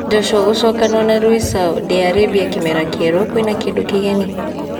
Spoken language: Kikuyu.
Joshua gũcokanũo na Rui Sao, di Arĩmbia kĩmera kĩeru, kwĩna kĩndũ kĩgeni ?